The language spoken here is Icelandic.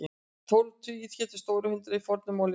Tólf tugir hétu stórt hundrað í fornu máli íslensku.